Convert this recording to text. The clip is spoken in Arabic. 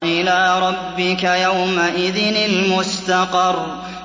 إِلَىٰ رَبِّكَ يَوْمَئِذٍ الْمُسْتَقَرُّ